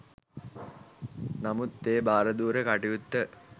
නමුත් ඒ භාරදූර කටයුත්ත